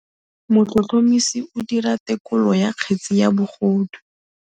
Motlhotlhomisi o dira têkolô ya kgetse ya bogodu.